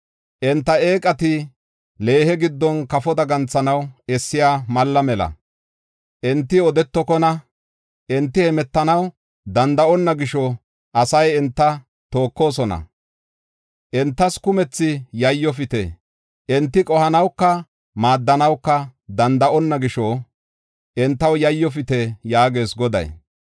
Enta eeqati leehe giddon kafo daganthanaw essiya malla mela. Enti odetokona; enti hemetanaw danda7onna gisho asay enta tookosona. Entas kumthi yayyofite. Enti qohanawuka maaddanawuka danda7onna gisho entaw yayyofite” yaagees Goday.